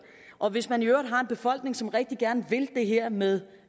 og hvis man i øvrigt har en befolkning som rigtig gerne vil det her med